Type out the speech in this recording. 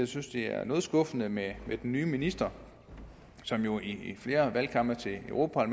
synes det er noget skuffende med den nye minister som jo i flere valgkampe til europa